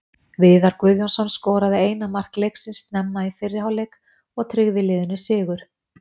Viðar Guðjónsson skoraði eina mark leiksins snemma í fyrri hálfleik og tryggði liðinu sigur.